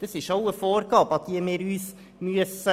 Das ist auch eine Vorgabe, an die wir uns halten müssen.